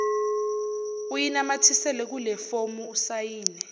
uyinamathisele kulefomu usayine